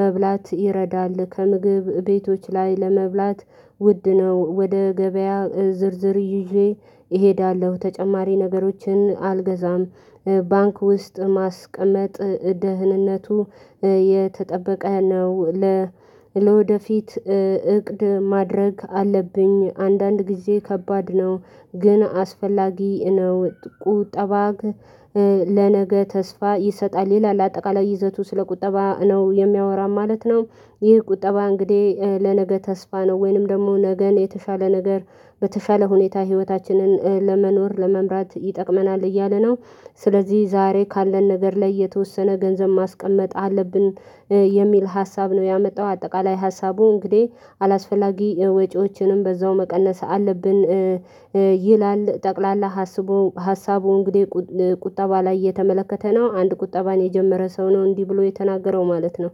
መብላት ይረዳል። ከምግብ ቤቶች ላይ ለመብላት ውድ ነው ወደ ገበያ ዝርዝር ይዤ እሄዳለሁ ተጨማሪ ነገሮችን አልገዛም። ባንክ ውስጥ ማስቀመጥ ደህንነቱ የተጠበቀ ነው። ለወደፊት እቅድ ማድረግ አለብኝ አንዳንድ ጊዜ ከባድ ነው ግን አስፈላጊ ነው። ቁጠባ ለነገ ተስፋ ይሰጣል ይላል አጠቃላይ ይዘቱ ስለ ቁጠባ ነው የሚያወራው ማለት ነው። ይህ ቁጠባ እንግዲህ ለነገ ተስፋ ነው ወይንም ደግሞ ነገን የተሻለ ነገር በተሻለ ሁኔታ ህይወታችንን ለመኖር ለመምራት ይጠቅመናል እያለ ነው። ስለዚህ ዛሬ ካለን ነገር ላይ የተወሰነ ገንዘብ ማስቀመጥ አለብን የሚል ሀሳብ ነው ያመጣው። አጠቃላይ ሀሳቡ እንግዲህ አላስፈላጊ ወጪዎችንም በዛው መቀነስ አለብን። ይላል ጠቅላላ ሀሳቡ እንግዲህ ቁጠባ ላይ የተመለከተ ነው አንድ ቁጠባን የጀመረ ሰው ነው እንዲህ ብሎ የተናገረው ማለት ነው።